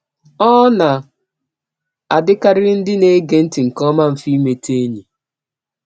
Ọ na - adịkarịrị ndị na -- ege ntị nke ọma mfe imeta enyi.